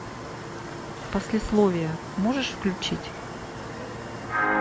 послесловие можешь включить